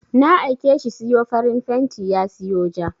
Na aike shi siyo farin fenti ya siyo ja.